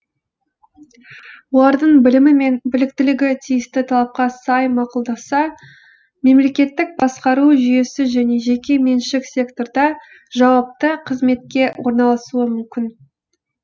олардың білімі мен біліктілігі тиісті талапқа сай мақұлданса мемлекеттік басқару жүйесі және жеке меншік секторда жауапты қызметке орналасуы мүмкін